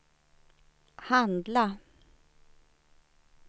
handla